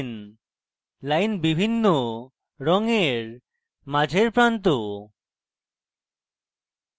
lines বিভিন্ন রঙের মাঝের প্রান্ত